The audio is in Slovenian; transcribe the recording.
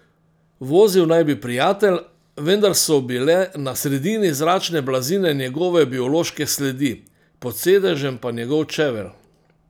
Vozil naj bi prijatelj, vendar so bile na sredini zračne blazine njegove biološke sledi, pod sedežem pa njegov čevelj.